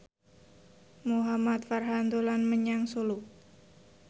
Muhamad Farhan dolan menyang Solo